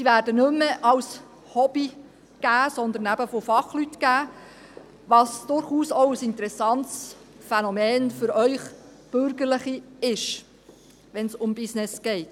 Sie werden nicht mehr als Hobby, sondern eben von Fachleuten gegeben, was durchaus auch ein interessantes Phänomen für die bürgerliche Seite hier ist – wenn es ums Business geht.